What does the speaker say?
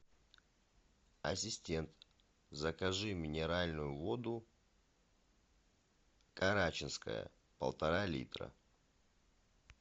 ассистент закажи минеральную воду карачинская полтора литра